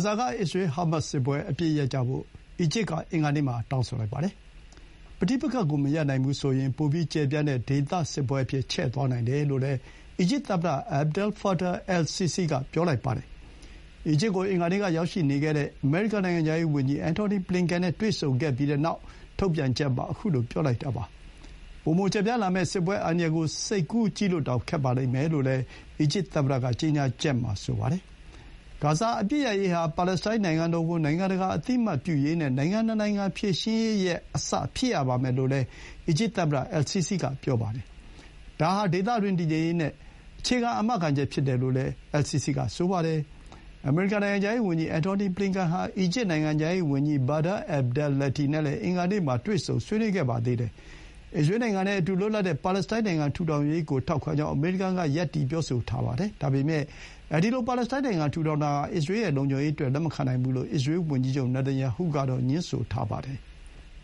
ဇာက အစ္စရေး-ဟာမတ်စ်စစ်ပွဲ အပစ်ရပ်ကြဖို့ အီဂျစ်က အင်္ဂါနေ့မှာ တောင်းဆိုလိုက်ပါတယ်။ ပဋိပက္ခကို မရပ်နိုင်ဘူးဆိုရင် ပိုပြီး ကျယ်ပြန့်တဲ့ ဒေသစစ်ပွဲအဖြစ် ချဲ့သွားနိုင်တယ်လို့လည်း အီဂျစ်သမ္မတ Abdel Fattah al-Sisi က ပြောလိုက်ပါတယ်။ အီဂျစ်ကို အင်္ဂါနေ့က ရောက်ရှိနေတဲ့ အမေရိကန် နိုင်ငံခြားရေးဝန်ကြီး Antony Blinken နဲ့တွေ့ဆုံပြီးနောက် ထုတ်ပြန်ချက်မှာ ခုလို ပြောလိုက်တာပါ။ ပိုမို ကျယ်ပြန့်လာမယ့် စစ်ပွဲအန္တရာယ်ကို စိတ်ကူးကြည့်ဖို့ကို ခက်ပါလိမ့်မယ်လို့လည်း အီဂျစ်သမ္မတက ကြေညာချက်မှာ ဆိုပါတယ်။ ဂါဇာအပစ်ရပ်ရေးဟာ ပါလက်စတိုင်းနိုင်ငံတော်ကို နိုင်ငံတကာ အသိအမှတ်ပြုရေးနဲ့ နိုင်ငံ ၂ နိုင်ငံ ဖြေရှင်းရေးရဲ့အစ ဖြစ်ရပါမယ်လို့လည်း အီဂျစ် သမ္မတ al-Sisi က ပြောပါတယ်။ ဒါဟာ ဒေသတွင်း တည်ငြိမ်ရေးရဲ့ အခြေခံ အာမခံချက် ဖြစ်တယ်လို့လည်း al-Sisi က ဆိုပါတယ်။ အမေရိကန် နိုင်ငံခြားရေးဝန်ကြီး Antony Blinken ဟာ အီဂျစ် နိုင်ငံခြားရေးဝန်ကြီး Badr Abdelatty နဲ့လည်း အင်္ဂါနေ့မှာ တွေ့ဆုံ ဆွေးနွေး ခဲ့ပါတယ်။ အစ္စရေးနိုင်ငံနဲ့အတူ လွတ်လပ်တဲ့ပါလက်စတိုင်း နိုင်ငံထူထောင်ရေးကိုထောက်ခံကြောင်း အမေရိကန်က ရပ်တည် ပြောဆိုထား ပါတယ်။ ဒါပေမဲ့ ဒီလို ပါလက်စတိုင်းနိုင်ငံထူထောင်တာဟာ အစ္စရေးရဲ့လုံခြုံရေးအတွက် လက်မခံနိုင်ဘူးလို့ အစ္စရေး ဝန်ကြီးချုပ် နေတန်ယာဟု ကတော့ ငြင်းဆိုထားပါတယ်။